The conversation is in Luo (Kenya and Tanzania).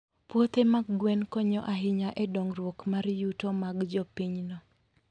Puothe mag gwen konyo ahinya e dongruok mar yuto mag jopinyno.